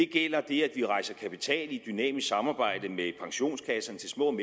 gælder det at vi rejser kapital i et dynamisk samarbejde med pensionskasserne til små